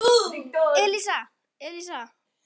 Elísa, Elísa!